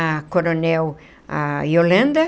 A coronel a Yolanda.